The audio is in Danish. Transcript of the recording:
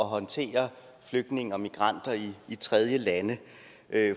håndtere flygtninge og migranter i tredjelande